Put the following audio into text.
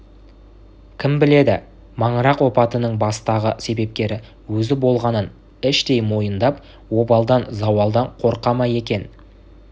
кім біледі маңырақ опатының бастағы себепкері өзі болғанын іштей мойындап обалдан зауалдан қорқа ма екен